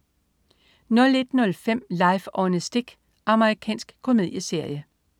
01.05 Life on a Stick. Amerikansk komedieserie